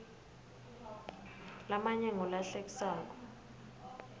lamanye ngula hlekisako